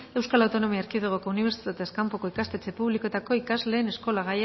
euskal autonomia erkidegoko unibertsitatez kanpoko ikastetxe publikoetako ikasleen eskola